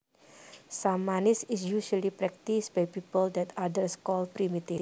Shamanism is usually practiced by people that others call primitive